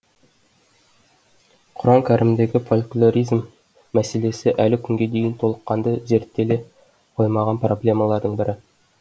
құран кәрімдегі фольклоризм мәселесі әлі күнге дейін толыққанды зерттеле қоймаған проблемалардың бірі